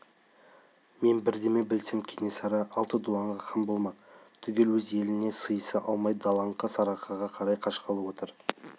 мен бірдеме білсем кенесары алты дуанға хан болмақ түгел өз еліне сыйыса алмай далаңқы сарыарқаға қарай қашқалы отыр